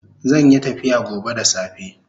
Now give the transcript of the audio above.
Zanyi tafiya gobe da safe